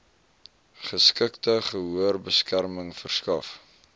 geskikte gehoorbeskerming verskaf